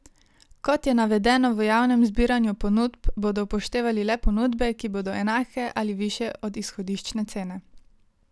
Kot je navedeno v javnem zbiranju ponudb, bodo upoštevali le ponudbe, ki bodo enake ali višje od izhodiščne cene.